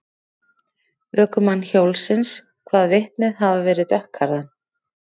Ökumann hjólsins kvað vitnið hafa verið dökkklæddan.